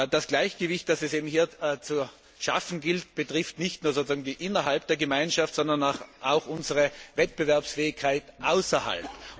Das Gleichgewicht, das es hier zu schaffen gilt, betrifft nicht nur sozusagen das Innere der Gemeinschaft, sondern auch unsere Wettbewerbsfähigkeit außerhalb.